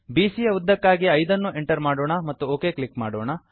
ಬಿಸಿಯ ಯ ಉದ್ದಕ್ಕಾಗಿ 5 ಅನ್ನು ಎಂಟರ್ ಮಾಡೋಣ ಮತ್ತು ಒಕ್ ಕ್ಲಿಕ್ ಮಾಡೋಣ